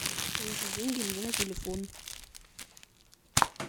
положи деньги мне на телефон